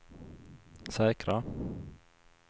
säkra